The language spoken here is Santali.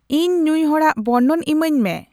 ᱤᱧ ᱱᱩᱭ ᱦᱚᱲᱟᱜ ᱵᱚᱨᱱᱚᱱ ᱤᱢᱟᱹᱧ ᱢᱮ